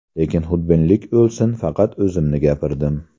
Lekin xudbinlik o‘lsin, faqat o‘zimni gapirdim.